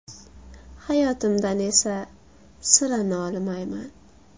Hayotimdan esa sira nolimayman.